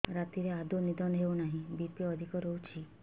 ରାତିରେ ଆଦୌ ନିଦ ହେଉ ନାହିଁ ବି.ପି ଅଧିକ ରହୁଛି